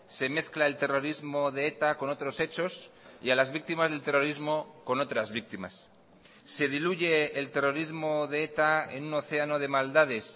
se mezcla el terrorismo de eta con otros hechos y a las víctimas del terrorismo con otras víctimas se diluye el terrorismo de eta en un océano de maldades